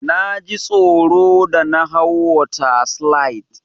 Naji tsoro da na hau water slide.